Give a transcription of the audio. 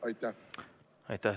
Aitäh!